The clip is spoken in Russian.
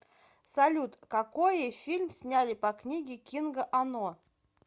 салют какои фильм сняли по книге кинга оно